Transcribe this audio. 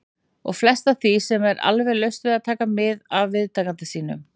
. og flest af því er alveg laust við að taka mið af viðtakanda sínum.